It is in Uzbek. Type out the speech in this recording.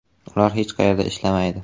Ular hech qayerda ishlamaydi.